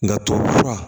Nka tubabufura